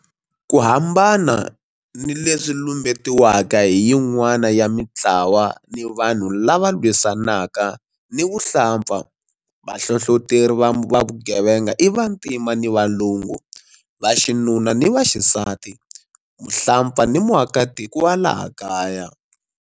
Ku hambana ni leswi lumbetiwaka hi yin'wana ya mitlawa ni vanhu lava lwisanaka ni vuhlampfa, vahlohloteri va vugevenga i vantima ni valungu, vaxinuna ni vaxisati, muhlampfa ni muakatiko wa laha kaya.